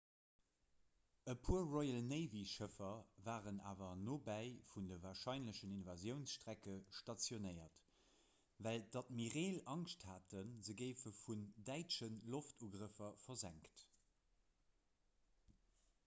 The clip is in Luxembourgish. e puer royal-navy-schëffer waren awer nobäi vun de warscheinlechen invasiounsstrecke stationéiert well d'admireel angscht haten se géife vun däitsche loftugrëffer versenkt